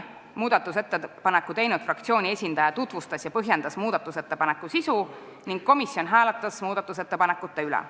Muudatusettepaneku teinud fraktsiooni esindaja tutvustas ettepaneku sisu ja esitas põhjendusi ning komisjon hääletas ettepaneku üle.